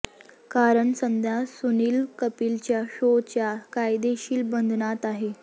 कारण सध्या सुनील कपिलच्या शोच्या कायदेशीर बंधनात आहे